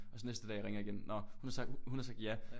Og så næste dag ringede jeg igen nå hun har sagt hun har sagt ja